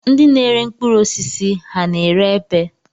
Ndị na-ere mkpụrụosisi ha na-ere epe?